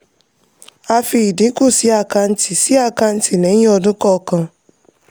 a fi ìdínkù sí àkàǹtì sí àkàǹtì lẹ́yìn ọdún kọọkan.